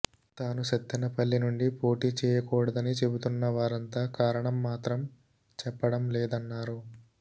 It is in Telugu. తాను సత్తెనపల్లి నుండి పోటీ చేయకూడదని చెబుతున్న వారంతా కారణం మాత్రం చెప్పడం లేదన్నారు